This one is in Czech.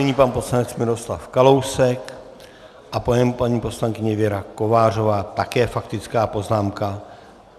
Nyní pan poslanec Miroslav Kalousek a po něm paní poslankyně Věra Kovářová, také faktická poznámka.